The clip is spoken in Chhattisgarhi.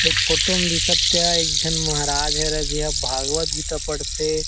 एक फोटो में दिखत तेहा एक झन महराज हरे जेहा भागवत गीता पढ़थे ।